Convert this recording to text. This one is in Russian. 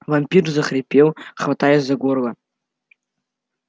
вампир захрипел хватаясь за горло